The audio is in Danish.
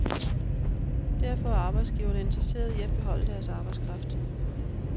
Derfor er arbejdsgiverne interesserede i at beholde deres arbejdskraft.